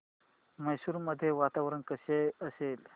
मैसूर मध्ये वातावरण कसे असेल